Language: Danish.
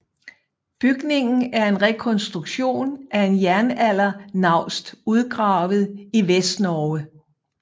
Bygningen er en rekonstruktion af en jernaldernaust udgravet i Vestnorge